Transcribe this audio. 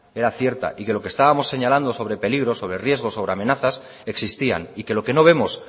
era cierta y lo que estábamos señalando sobre peligros sobre riesgos sobre amenazas existían y que lo que no vemos